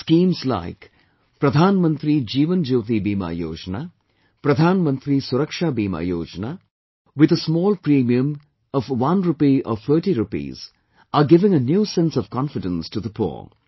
Schemes like, Pradhan Mantri Jeewan Jyoti Bima Yojna, Pradhan Mantri Suraksha Bima Yojna, with a small premium of one rupee or thirty rupees, are giving a new sense of confidence to the poor